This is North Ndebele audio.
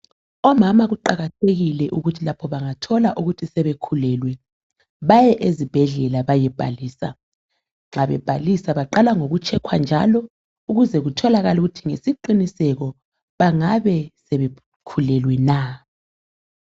Omama kuqakathekile ukuthi labo bangathola ukuthi sebekhulelwe baye ezibhedlela bayebhalisa. Nxa bebhalisa baqala ngoku"check" njalo ukuze kutholakala ukuthi ngesiqiniseko bangabe sebekhulelwe na .